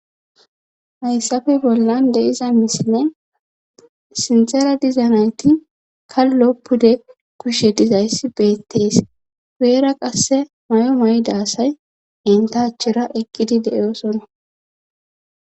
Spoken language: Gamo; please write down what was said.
hayssafe bollan deiza misine sintera dizanayti kalloppude kushshe dizayssi beettees peera qasse may7o maydasay entachera ekkidi de7oosona